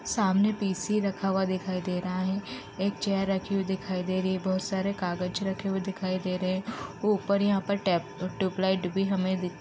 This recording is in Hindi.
सामने पी.सी. रखा हुआ दिखाई दे रहा है। एक चेयर रखी हुई दिखाई दे रही है। बहोत सारे कागज रखे हुए दिखाई दे रहे है ऊपर यहाँ पर हमें टैब ट्यूबलाइट --